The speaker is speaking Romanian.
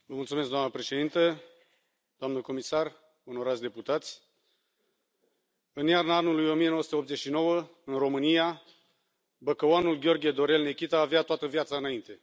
Doamnă președintă, doamnă comisară, onorați deputați, în iarna anului 1989, în România, băcăuanul Gheorghe Dorel Nechita avea toată viața înainte.